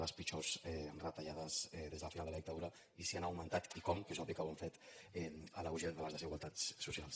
les pitjors retallades des del final de la dictadura i si han augmentat i com que és obvi que ho han fet l’auge de les desigualtats socials